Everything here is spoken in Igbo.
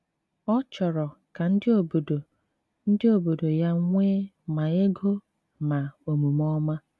Ọ chọrọ ka ndị obodo ndị obodo ya nwee ma ego ma omume ọma.